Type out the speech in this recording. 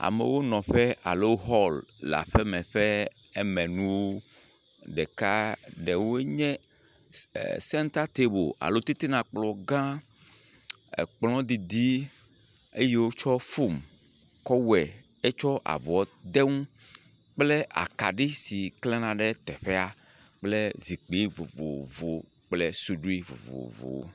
Amewo nɔ ƒe alo hɔl le aƒeme kple emenuwo. Ɖeka, ɖewo nye sen e senta table alo titina kplɔgã. Ekplɔ didi eyi wotsɔ fom kɔ wɔe etsɔ avɔ de enu kple akaɖi si klena ɖe teƒea kple zikpui vovovowo kple suɖui vovovowo.